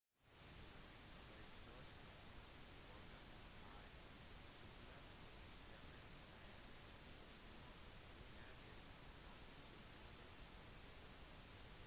det største organet i sirkulasjonssystemet er riktignok hjertet som pumper blodet